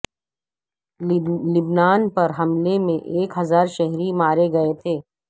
لبنان پر حملے میں ایک ہزار شہری مارے گئے تھے